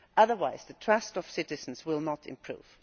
otherwise the trust of citizens will not improve.